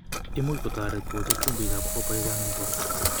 Imuch kotoret kocher chumbikab copper chechang' eng' borto.